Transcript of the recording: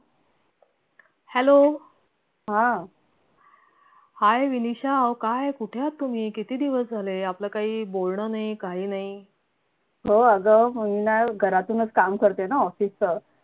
hello hi Vinisha अहो काय कुठे आहात तुम्ही किती दिवस झाले आपला काही बोलणं नाही काही नाही